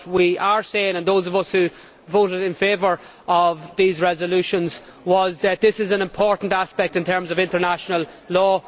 What we are saying those of us who voted in favour of these resolutions is that this is an important aspect in terms of international law.